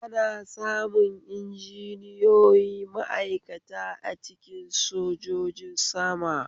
Ana samun injiniyoyi ma'aikata a cikin sojojin sama